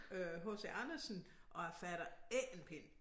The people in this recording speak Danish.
Øh H C Andersen og jeg fatter ikke en pind